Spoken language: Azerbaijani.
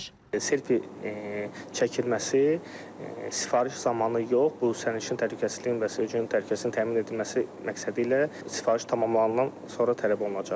Selfie çəkilməsi sifariş zamanı yox, bu sərnişinin təhlükəsizliyinin və sürücünün təhlükəsizliyinin təmin edilməsi məqsədi ilə sifariş tamamlanandan sonra tələb olunacaq.